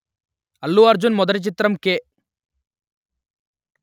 అల్లు అర్జున్ మొదటి చిత్రం కె